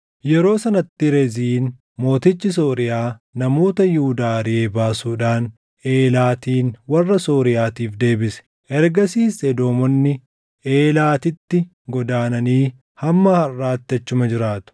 Yeroo sanatti Reziin mootichi Sooriyaa namoota Yihuudaa ariʼee baasuudhaan Eelaatin warra Sooriyaatiif deebise. Ergasiis Edoomonni Eelaatitti godaananii hamma harʼaatti achuma jiraatu.